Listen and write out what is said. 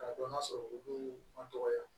K'a dɔn k'a sɔrɔ olu ma dɔgɔya